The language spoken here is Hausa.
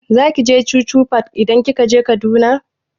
Zaki je chuchu park idan kika je Kaduna?